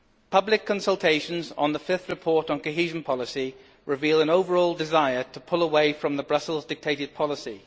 Public consultations on the fifth report on cohesion policy reveal an overall desire to pull away from the Brussels dictated policy.